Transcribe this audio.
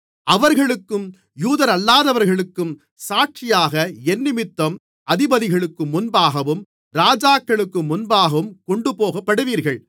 அவர்களுக்கும் யூதரல்லாதவர்களுக்கும் சாட்சியாக என்னிமித்தம் அதிபதிகளுக்கு முன்பாகவும் ராஜாக்களுக்கு முன்பாகவும் கொண்டுபோகப்படுவீர்கள்